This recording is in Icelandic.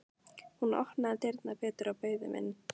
Hún opnaði dyrnar betur og bauð þeim inn.